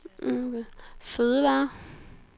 fødevarer